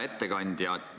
Hea ettekandja!